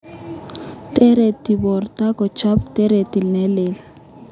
Tareti porto kochop toretet nelel.